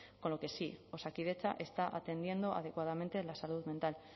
con lo que sí osakidetza está atendiendo adecuadamente la salud mental